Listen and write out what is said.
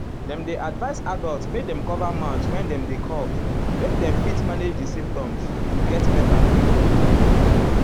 dem dey advise adults make dem cover mouth when dem dey cough make dem fit manage di symptoms to get beta quick.